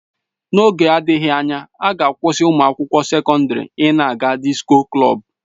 N'oge na-adịghị anya, a ga-akwụsị ụmụ akwụkwọ sekọndrị ị na-aga disko klọb